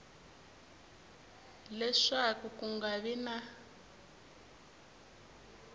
leswaku ku nga vi na